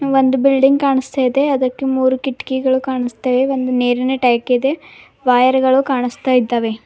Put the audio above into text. ಒಂದು ಬಿಲ್ಡಿಂಗ್ ಕಾಣಸ್ತಾ ಇದೆ ಅದಕ್ಕೆ ಮೂರು ಕಿಟಕಿಗಳು ಕಾಣಿಸ್ತಿವೆ ಒಂದು ನೀರಿನ ಟ್ಯಾಂಕ್ ಇದೆ ವಯರ್ ಗಳು ಕಾಣಿಸ್ತಾ ಇದಾವೆ.